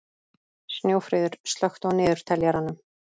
Snjófríður, slökktu á niðurteljaranum.